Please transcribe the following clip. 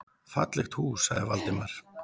Fallegt hús sagði Valdimar.